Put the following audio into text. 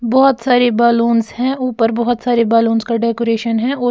बहुत सारे बैलून्स हैं ऊपर बहुत सारे बैलून्स का डेकोरेशन है और--